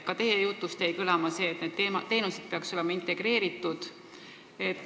Ka teie jutust jäi kõlama, et need teenused peaksid olema integreeritud.